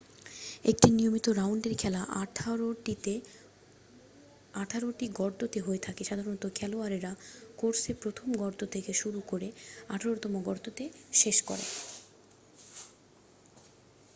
একটি নিয়মিত রাউন্ডের খেলা আঠারোটি গর্ততে হয়ে থাকে সাধারনত খেলোয়াড়েরা কোর্সে প্রথম গর্ত থেকে শুরু করে আঠারোতম গর্ততে শেষ করে